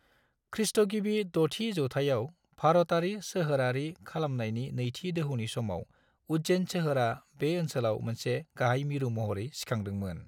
खृ.गिबि 6थि जौथाइयाव भारतारि सोहोरारि खालमानायनि नैथि दोहौनि समाव उज्जैन सोहोरा बे ओनसोलाव मोनसे गाहाय मिरु महरै सिखांदोंमोन।